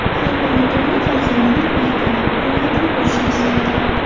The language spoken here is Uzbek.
Har bir ota ona farzandining baxtini, rohatini ko‘rishni istaydi.